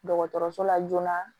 Dɔgɔtɔrɔso la joona